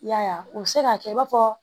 I y'a ye u bɛ se k'a kɛ i b'a fɔ